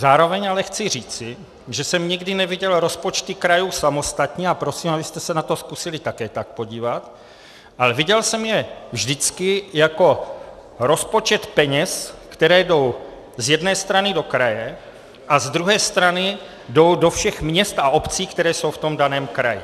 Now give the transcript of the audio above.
Zároveň ale chci říci, že jsem nikdy neviděl rozpočty krajů samostatně, a prosím, abyste se na to zkusili také tak podívat, ale viděl jsem je vždycky jako rozpočet peněz, které jdou z jedné strany do kraje a z druhé strany jdou do všech měst a obcí, které jsou v tom daném kraji.